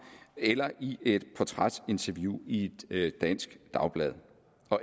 eller i et portrætinterview i et dansk dagblad